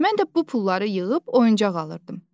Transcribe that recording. Mən də bu pulları yığıb oyuncaq alırdım.